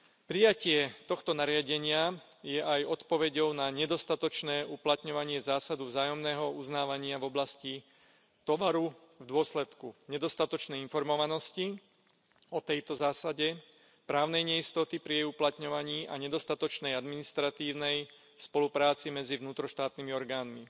Prijatie tohto nariadenia je aj odpoveďou na nedostatočné uplatňovanie zásady vzájomného uznávania v oblasti tovaru v dôsledku nedostatočnej informovanosti o tejto zásade, právnej neistoty pri jej uplatňovaní a nedostatočnej administratívnej spolupráce medzi vnútroštátnymi orgánmi.